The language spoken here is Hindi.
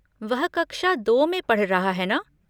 वह कक्षा दो में पढ़ रहा है ना?